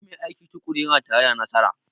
Duk mai aiki tukuru yana tare da nasara